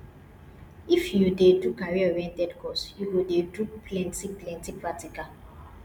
i f you dey do careeroriented course you go dey do plentyplenty practical